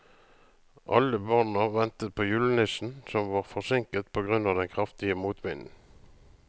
Alle barna ventet på julenissen, som var forsinket på grunn av den kraftige motvinden.